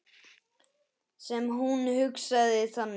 Sem hún hugsaði þannig.